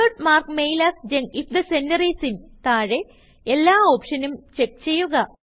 Dr not mark mail as junk if the sender is inതാഴെ എല്ലാ ഓപ്ഷനും check ചെയ്യുക